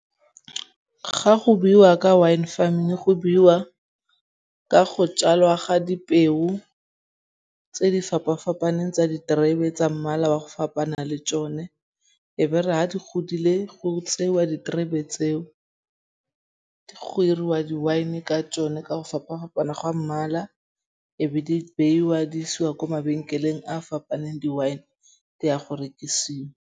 Ga go buiwa ka wine farming go buiwa ka go tjalwa ga dipeo tse di fapafapaneng tsa diterebe tsa mmala wa go fapana le tšone. E be ere ga di godile go tseiwa diterebe tseo, go iriwa di wine ka tšone ka go fapa-fapana gwa mmala e be di beiwa di isiwa kwa mabenkeleng a fapaneng. Di wine di ya go rekisiwa.